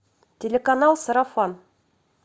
телеканал сарафан